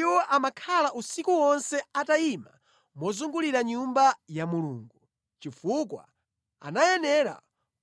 Iwo amakhala usiku wonse atayima mozungulira Nyumba ya Mulungu, chifukwa anayenera